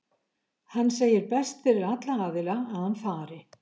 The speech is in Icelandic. Hann segir best fyrir alla aðila að hann fari.